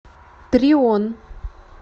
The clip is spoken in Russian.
трион